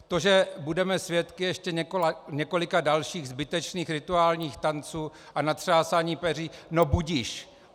To, že budeme svědky ještě několika dalších zbytečných rituálních tanců a natřásání peří, no budiž!